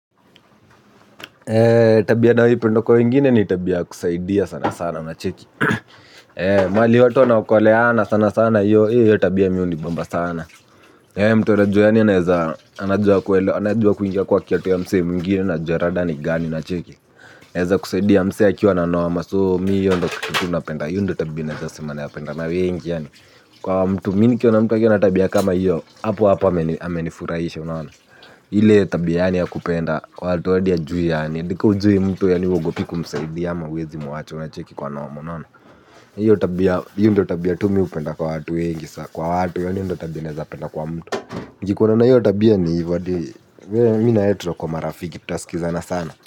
Tabia nayo ipenda kwa wengine ni tabia ya kusaidia sana sana una cheki. Mahali watu wana okoleana sana sana hio tabia mimi hunibamba sana. Mtu anajua yani anaeza, anajua kuingia kwa kiatu ya msee mwigine anajua rada ni gani na cheki. Naeza kusaidia msee akiwa na noma, so mimi hio ndo kitu na penda, hio ndo tabia nasema na penda na wengi, kwa mtu mimi nikiona mtu ana tabia kama hio, hapo hapo amenifurahisha unaona. Ile tabia ya kupenda watu hadi hajui yani, hadi kama hujui mtu yani huogopi kumsaidia ama huwezi muacha unacheki kwa noma. Hiyo tabia, hio ndio tabia tu mimi hupenda kwa watu wengi, kwa watu yani hio ndio tabia naeza penda kwa mtu. Nikikuona na hiyo tabia ni hivo hadi, mimi na wewe tunakuwa marafiki, tutasikizana sana.